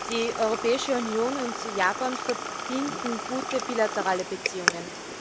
Die Europäische Union und Japan verbinden gute bilaterale Beziehungen.